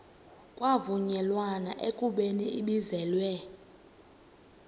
kwavunyelwana ekubeni ibizelwe